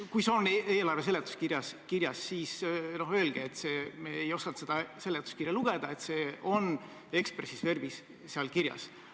Kui see on eelarve seletuskirjas kirjas, siis öelge, et me ei osanud seletuskirja lugeda ja et see on expressis verbis seal kirjas.